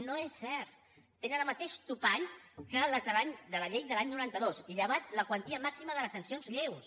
no és cert tenen el mateix topall que les de la llei de l’any noranta dos llevat de la quantia màxima de les sancions lleus